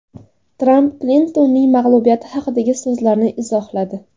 Tramp Klintonning mag‘lubiyati haqidagi so‘zlarini izohladi.